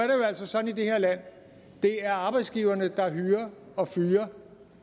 jo altså sådan i det her land at det er arbejdsgiverne der hyrer og fyrer